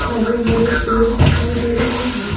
हरे-हरे पेड़ दिखाई दे रहे हैं।